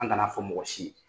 An kan'a fɔ mɔgɔ si ye!